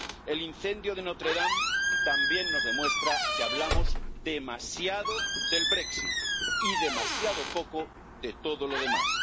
El incendio de Notre Dame, también nos demuestra que hablamos demasiado del Brexit y demasiado poco de todo lo demás.